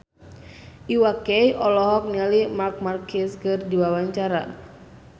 Iwa K olohok ningali Marc Marquez keur diwawancara